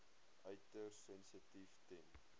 uiters sensitief ten